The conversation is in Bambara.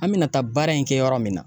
An me na taa baara in kɛ yɔrɔ min na